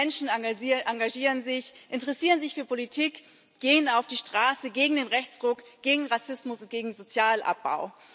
Viele Menschen engagieren sich, interessieren sich für Politik, gehen auf die Straße gegen den Rechtsruck, gegen Rassismus und gegen Sozialabbau.